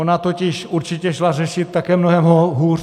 Ona totiž určitě šla řešit také mnohem hůř.